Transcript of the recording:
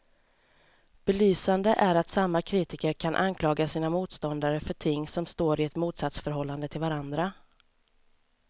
Belysande är att samma kritiker kan anklaga sina motståndare för ting som står i ett motsatsförhållande till varandra.